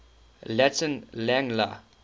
latin lang la